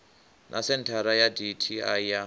na senthara ya dti ya